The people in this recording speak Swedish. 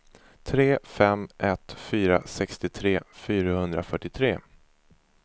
tre fem ett fyra sextiotre fyrahundrafyrtiotre